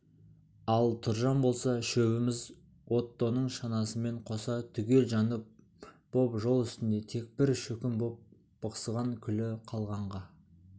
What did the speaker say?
ал тұржан болса шөбіміз оттоның шанасымен қоса түгел жанып боп жол үстінде тек бір шөкім боп бықсыған күлі қалғанға